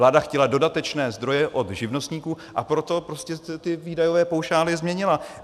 Vláda chtěla dodatečné zdroje od živnostníků, a proto prostě ty výdajové paušály změnila.